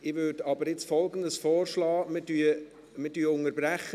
Ich würde aber Folgendes vorschlagen: Wir unterbrechen.